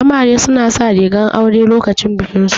Amare su na sa rigar aure lokacin bikin su